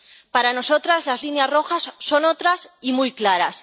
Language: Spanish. Para nosotras, las líneas rojas son otras y muy claras.